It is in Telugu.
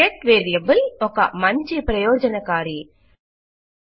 గెట్ వేరియబుల్ చాలా ఉపయోగకరమైన వేరియబుల్ రకం